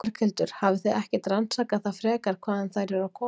Berghildur: Hafið þið ekkert rannsakað það frekar hvaðan þær eru aðkoma?